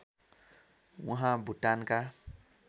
उहाँ भुटानका